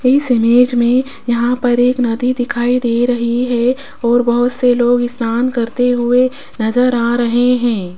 इस इमेज में यहां पर एक नदी दिखाई दे रही है और बहुत से लोग स्नान करते हुए नजर आ रहे हैं।